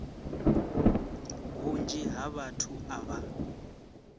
vhunzhi ha vhathu a vha